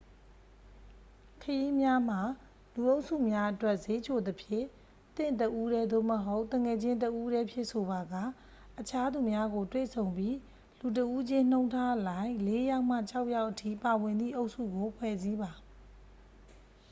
ခရီးများမှာ လူအုပ်စုများအတွက် စျေးချိုသဖြင့် သင့်တစ်ဦးတည်း သို့မဟုတ် သူငယ်ချင်းတစ်ဦီးတည်းဖြင့်ဆိုပါက အခြားသူများကို တွေ့ဆုံပြီး လူတစ်ဦးချင်းနှုန်းထားအလိုက် လေး‌ယောက်မှ ခြောက်ယောက်အထိ ပါဝင်သည့် အုပ်စုကို ဖွဲ့စည်းပါ။